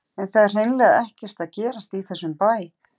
En það er hreinlega ekkert að gerast í þessum bæ.